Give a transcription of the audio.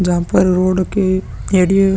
जहाँ पर रोड के एरिये --